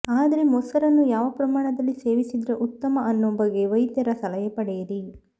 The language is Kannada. ಆದ್ರೆ ಮೊಸರನ್ನು ಯಾವ ಪ್ರಮಾಣದಲ್ಲಿ ಸೇವಿಸಿದ್ರೆ ಉತ್ತಮ ಅನ್ನೋ ಬಗ್ಗೆ ವೈದ್ಯರ ಸಲಹೆ ಪಡೆಯಿರಿ